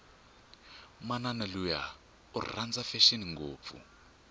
manani luya iranda fashini ngopfu